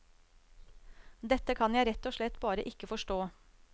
Dette kan jeg rett og slett bare ikke forstå.